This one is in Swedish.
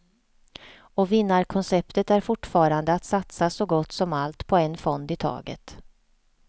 Och vinnarkonceptet är fortfarande att satsa så gott som allt på en fond i taget.